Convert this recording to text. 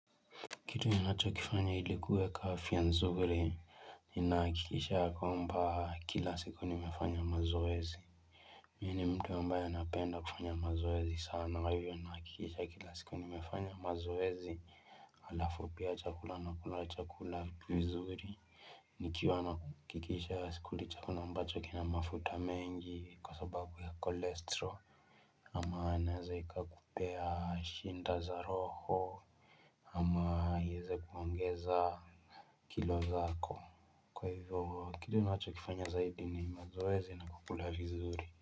Kitu ninachokifanya ili kuweka afya nzuri ninahakikisha ya kwamba kila siku nimefanya mazoezi. Mimi ni mtu ambaye napenda kufanya mazoezi sana. Kwa hivyo nahakikisha kila siku nimefanya mazoezi. Halafu pia chakula nakula chakula vizuri. Kwa hivyo nahakikisha kila siku nimefanya mazoezi. Ama inaweza ikakupea shida za roho. Ama iweze kuongeza kilo zako kwa hivyo kile ninachokifanya zaidi ni mazoezi na kukula vizuri.